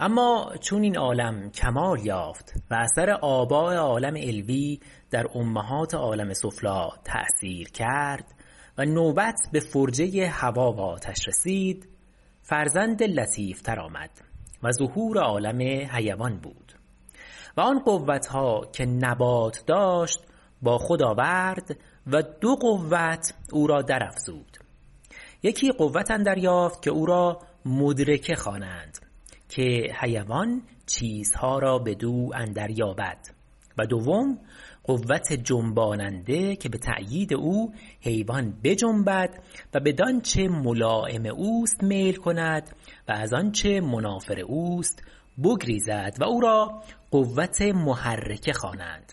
اما چون این عالم کمال یافت و اثر آباء عالم علوی در امهات عالم سفلی تأثیر کرد و نوبت به فرجه هوا و آتش رسید فرزند لطیف تر آمد و ظهور عالم حیوان بود و آن قوت ها که نبات داشت با خود آورد و دو قوت او را در افزود یکی قوت اندر یافت که او را مدرکه خوانند که حیوان چیزها را بدو اندر یابد و دوم قوت جنباننده که به تأیید او حیوان بجنبد و بدانچه ملایم اوست میل کند و از آنچه منافر اوست بگریزد و او را قوت محرکه خوانند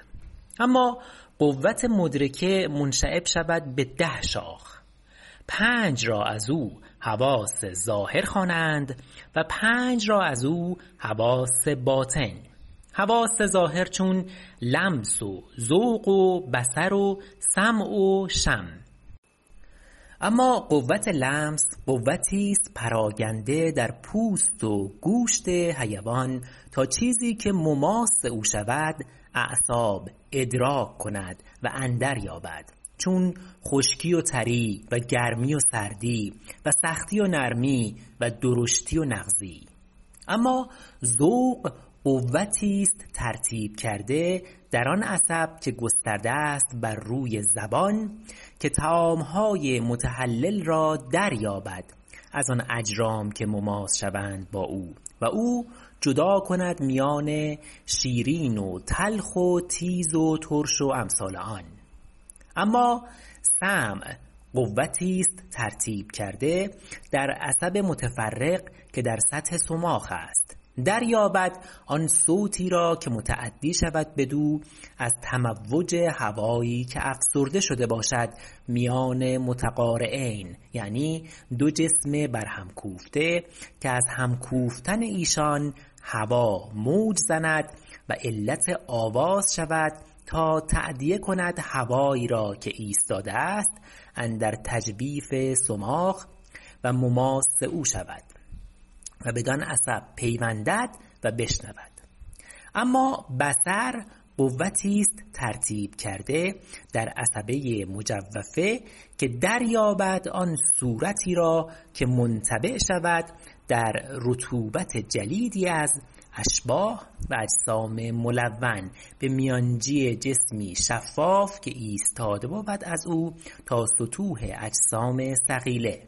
اما قوت مدرکه منشعب شود به ده شاخ پنج را ازو حواس ظاهر خوانند و پنج را ازو حواس باطن حواس ظاهر چون لمس و ذوق و بصر و سمع و شم اما قوت لمس قوتی است پراکنده در پوست و گوشت حیوان تا چیزی که مماس او شود اعصاب ادراک کند و اندر یابد چون خشکی و تری و گرمی و سردی و سختی و نرمی و درشتی و نغزی اما ذوق قوتی است ترتیب کرده در آن عصب که گسترده است بر روی زبان که طعام های متحلل را دریابد از آن اجرام که مماس شوند با او و او جدا کند میان شیرین و تلخ و تیز و ترش و امثال آن اما سمع قوتی است ترتیب کرده در عصب متفرق که در سطح صماخ است دریابد آن صوتی را که متأدی شود بدو از تموج هوایی که افسرده شده باشد میان متقارعین یعنی دو جسم برهم کوفته که از هم کوفتن ایشان هوا موج زند و علت آواز شود تا تأدیه کند هوایی را که ایستاده است اندر تجویف صماخ و مماس او شود و بدان عصب پیوندد و بشنود اما بصر قوتی است ترتیب کرده در عصبه مجوفه که در یابد آن صورتی را که منطبع شود در رطوبت جلیدی از اشباح و اجسام ملون به میانجی جسمی شفاف که ایستاده بود ازو تا سطوح اجسام صقیله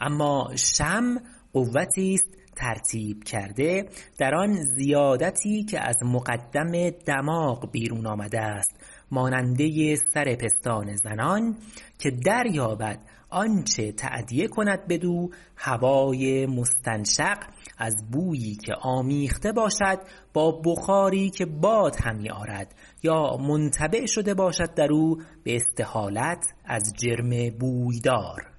اما شم قوتی است ترتیب کرده در آن زیادتی که از مقدم دماغ بیرون آمده است ماننده سر پستان زنان که در یابد آنچه تأدیه کند بدو هوای مستنشق از بویی که آمیخته باشد یا بخاری که باد همی آرد یا منطبع شده باشد درو به استحالت از جرم بوی دار